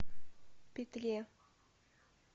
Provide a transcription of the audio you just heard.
петре